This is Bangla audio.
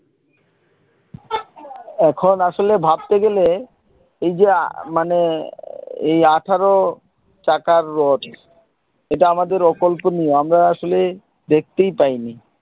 এখন আসলে ভাবতে গেলে এই যে আহ মানে এই আঠারো চাকার রথ এটা আমাদের অকল্পনীয় আমরা আসলে দেখতেই পাইনি।